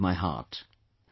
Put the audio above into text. They agitate my heart